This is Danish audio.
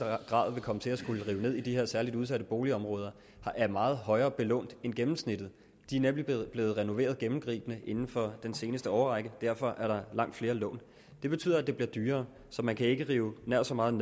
grad vil komme til at skulle rive ned i de her særligt udsatte boligområder er meget højere belånt end gennemsnittet de er nemlig blevet renoveret gennemgribende inden for den seneste årrække og derfor er der langt flere lån det betyder at det bliver dyrere så man kan ikke rive nær så meget